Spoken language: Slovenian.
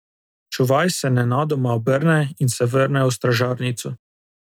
Čuvaj se nenadoma obrne in se vrne v stražarnico.